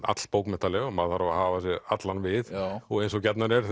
all bókmenntaleg og maður þarf að hafa sig allan við og eins og gjarnan er